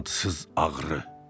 Adsız ağrı.